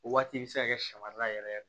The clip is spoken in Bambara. O waati bɛ se ka kɛ sɔ marala yɛrɛ